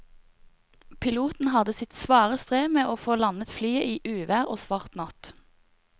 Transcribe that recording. Piloten hadde sitt svare strev med å få landet flyet i uvær og svart natt.